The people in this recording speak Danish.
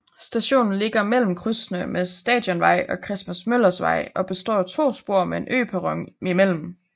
Stationen ligger mellem krydsene med Stadionvej og Christmas Møllers Vej og består af to spor med en øperron imellem